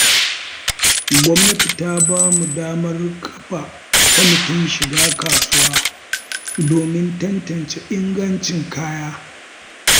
Gwamnati ta bamu damar kafa kwamatin shiga kasuwa domin tantance ingancin kaya.